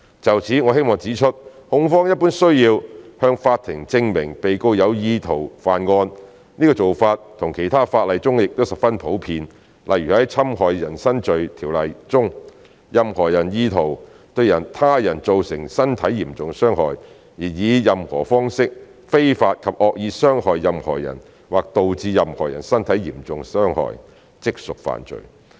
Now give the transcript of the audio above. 就此，我們希望指出控方一般需要向法庭證明被告有意圖犯案，這做法在其他的法例中亦十分普遍，例如在《侵害人身罪條例》中，任何人意圖對他人造成身體嚴重傷害，而以任何方式非法及惡意傷害任何人或導致任何人身體受嚴重傷害，即屬犯罪。